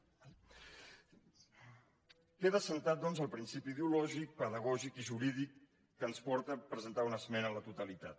d’acord queda assentat doncs el principi ideològic pedagògic i jurídic que ens porta a presentar una esmena a la totalitat